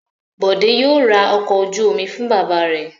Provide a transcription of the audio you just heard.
Bọ̀dé yóò ra ọkọ̀ ojú-omi fún bàbá rẹ̀.